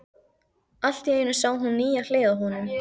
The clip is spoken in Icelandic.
Allt í einu sá hún nýja hlið á honum.